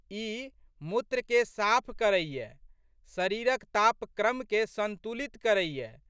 ई मूत्रकेँ साफ करैए। शरीरक तापक्रमकेँ संतुलित करैए।